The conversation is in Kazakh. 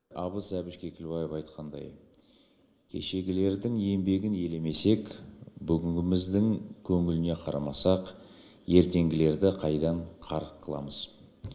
абыз әбіш кекілбаев айтқандай кешегілердің еңбегін елемесек бүгінгіміздің көңіліне қарамасақ ертеңгілерді қайдан қарық қыламыз